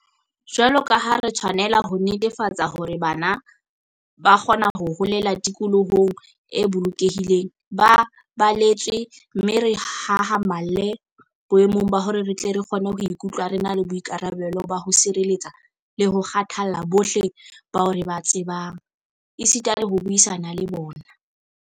Jwaloka ha re tshwanela ho netefatsa hore bana ba kgona ho holela tikolohong e bolokehileng, ba baletswe mme re hahamalle boemong ba hore re tle re kgone ho ikutlwa re na le boikarabelo ba ho tshireletsa le ho kgathalla bohle bao re ba tsebang, esita le ho buisana le bona.